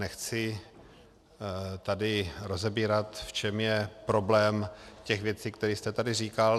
Nechci tady rozebírat, v čem je problém těch věcí, které jste tady říkal.